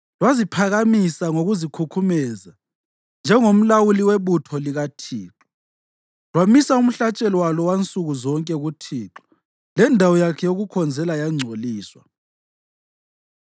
Lwaziphakamisa ngokuzikhukhumeza njengengomlawuli webutho likaThixo, lwamisa umhlatshelo walo wansuku zonke kuThixo lendawo yakhe yokukhonzela yangcoliswa.